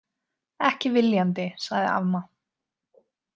Ekki viljandi, sagði amma.